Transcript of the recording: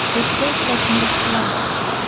O‘pka ishlashini yaxshilaydi.